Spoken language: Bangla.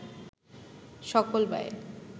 সকল ব্যয়